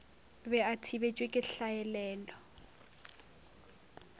be a thibetšwe ke hlaelelo